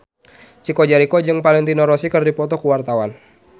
Chico Jericho jeung Valentino Rossi keur dipoto ku wartawan